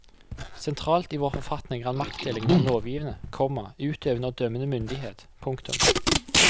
Sentralt i vår forfatning er maktdelingen mellom lovgivende, komma utøvende og dømmende myndighet. punktum